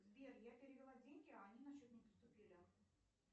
сбер я перевела деньги а они на счет не поступили